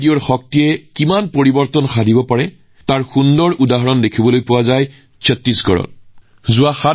ৰেডিঅৰ শক্তিয়ে কিমান পৰিৱৰ্তন আনিব পাৰে তাৰ এক অনন্য উদাহৰণ ছত্তীশগড়ত দেখা গৈছে